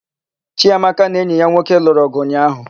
Chiamaka na enyi ya nwoke lụrụ ọgụ ụnyaahụ.